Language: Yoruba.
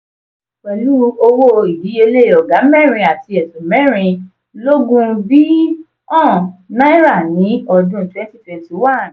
pelu owó ìdíyelé oga mẹ́rin àti ẹ̀sún mẹ́rin lógún bi.ọ̀n náírà ni ọdún 2021.